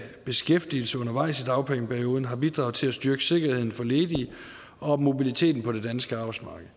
beskæftigelse undervejs i dagpengeperioden har bidraget til at styrke sikkerheden for ledige og mobiliteten på det danske arbejdsmarked